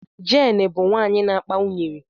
Jane bụ nwanyị na akpa unyiri.